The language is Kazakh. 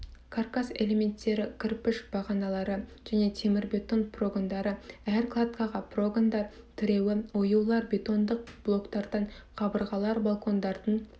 каркас элементтері кірпіш бағаналары және темірбетон прогондары әр кладкаға прогондар тіреуі оюлары бетондық блоктардан қабырғалар балкондардың